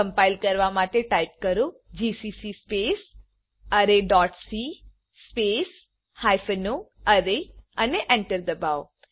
compile કરવા માટે type કરો GCC space array dot c space hyphen o array અને એન્ટર દબાવો